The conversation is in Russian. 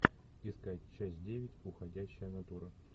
искать часть девять уходящая натура